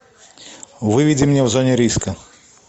выведи мне в зоне риска